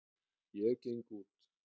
Ég geng út.